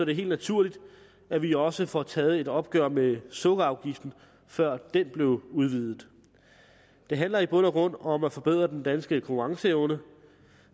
det helt naturligt at vi også får taget et opgør med sukkerafgiften før den blev udvidet det handler i bund og grund om at forbedre den danske konkurrenceevne